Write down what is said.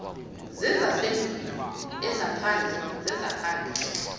zezasendlwini ezaphandle zezaphandle